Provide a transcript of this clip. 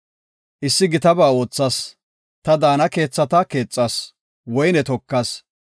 Issi gitaba oothas; ta daana keethata keexas; woyne tokas.